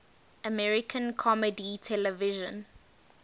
american comedy television